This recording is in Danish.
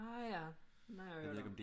Ah ja den har jeg hørt om